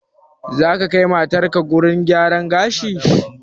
Zaka kai matarka gurin gyaran gashi?